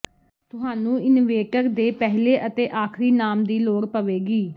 ਤੁਹਾਨੂੰ ਇਨਵੇਟਰ ਦੇ ਪਹਿਲੇ ਅਤੇ ਆਖ਼ਰੀ ਨਾਮ ਦੀ ਲੋੜ ਪਵੇਗੀ